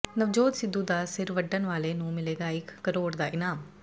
ਨਵਜੋਤ ਸਿੱਧੂ ਦਾ ਸਿਰ ਵੱਢਣ ਵਾਲੇ ਨੂੰ ਮਿਲੇਗਾ ਇੱਕ ਕਰੋੜ ਦਾ ਇਨਾਮ